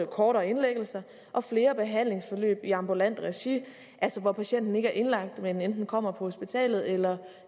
kortere indlæggelser og flere behandlingsforløb i ambulant regi altså hvor patienten ikke er indlagt men enten kommer på hospitalet eller